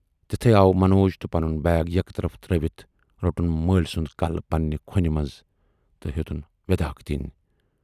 تِتھُے آو منوج تہٕ پنُن بیگ یکطرف ترٲوِتھ روٹُن مٲلۍ سُند کلہٕ پننہِ کھۅچھِ منز تہٕ ہیتٕنۍ وٮ۪داکھ دِنۍ۔